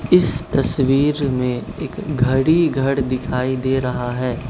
इस तस्वीर में एक घड़ी घड़ दिखाई दे रहा है।